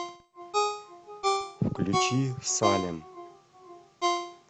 включи салем